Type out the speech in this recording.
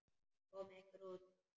Komiði ykkur út.